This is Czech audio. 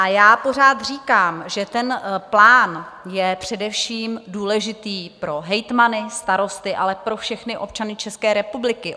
A já pořád říkám, že ten plán je především důležitý pro hejtmany, starosty, ale pro všechny občany České republiky.